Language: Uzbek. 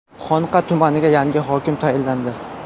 Xonqa tumaniga yangi hokim tayinlandi.